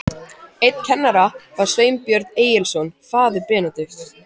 Einn kennara var Sveinbjörn Egilsson, faðir Benedikts.